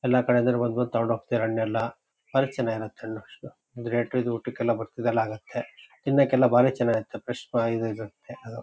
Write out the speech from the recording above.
ಎಲ್ಲ ಕಡೆ ಇಂದ ಬಂದ್ ಬಂದ್ ತಗೊಂಡು ಹೋಗ್ತಾರೆ ಹಣ್ಣೆಲ್ಲ ಬಾರಿ ಚೆನ್ನಾಗಿರುತ್ತೆ ಹಣ್ಣು ಇದು ರೇಟ್ ಊಟುಕೆಲ್ಲ ಹಾಗುತ್ತೆ ತಿನ್ನಕ್ಕೆ ಎಲ್ಲ ಬಾರಿ ಚೆನ್ನಾಗಿರುತ್ತೆ ಫ್ರೆಶ್